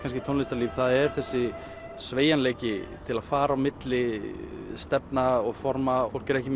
tónlistarlíf það er þessi sveigjanleiki til að fara á milli stefna og forma fólk er ekki